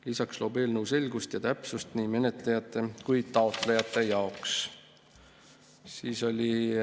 Lisaks loob eelnõu selgust ja täpsust nii menetlejate kui ka taotlejate jaoks.